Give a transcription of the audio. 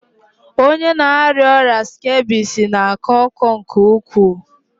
Onye na-arịa ọrịa skebisi na-akọ ọkụ nke ukwuu.